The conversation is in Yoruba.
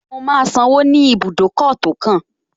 Mo máa sanwó ní ibùdókọ̀ tó kàn